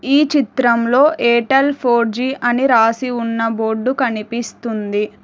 ఈ చిత్రంలో Airtel four G అని రాసి ఉన్న బోర్డు కనిపిస్తుంది.